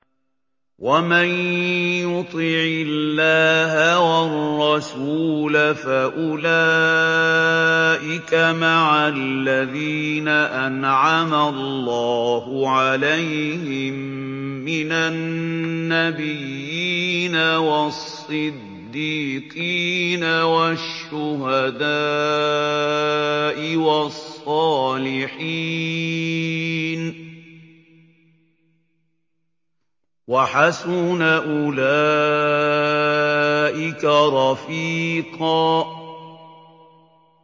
وَمَن يُطِعِ اللَّهَ وَالرَّسُولَ فَأُولَٰئِكَ مَعَ الَّذِينَ أَنْعَمَ اللَّهُ عَلَيْهِم مِّنَ النَّبِيِّينَ وَالصِّدِّيقِينَ وَالشُّهَدَاءِ وَالصَّالِحِينَ ۚ وَحَسُنَ أُولَٰئِكَ رَفِيقًا